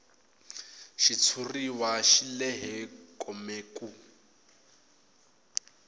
xitshuriwa xi lehe kome ku